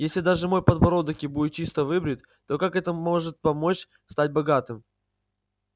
если даже мой подбородок и будет чисто выбрит то как это может помочь стать богатым